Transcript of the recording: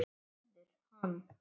Verður hann.